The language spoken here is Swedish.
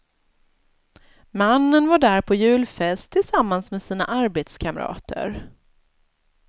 Mannen var där på julfest tillsammans med sina arbetskamrater.